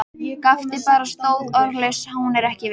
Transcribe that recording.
Gapti bara, stóð orðlaus, hún er ekki viss.